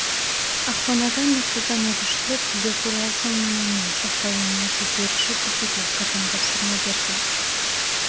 ақпанада нұрсұлтан әбішұлы тілдер туралы заңнаманның сақталуына тексеріс жүргізуге қатаң тапсырма берді